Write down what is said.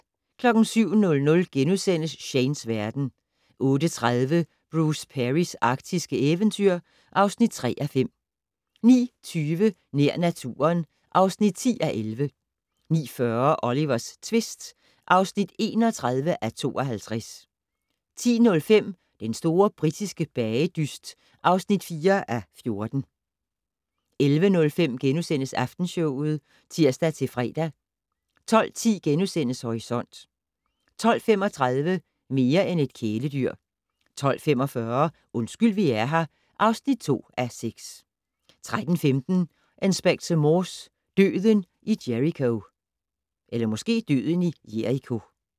07:00: Shanes verden * 08:30: Bruce Perrys arktiske eventyr (3:5) 09:20: Nær naturen (10:11) 09:40: Olivers tvist (31:52) 10:05: Den store britiske bagedyst (4:14) 11:05: Aftenshowet *(tir-fre) 12:10: Horisont * 12:35: Mere end et kæledyr 12:45: Undskyld vi er her (2:6) 13:15: Inspector Morse: Døden i Jericho